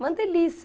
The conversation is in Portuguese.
Uma delícia.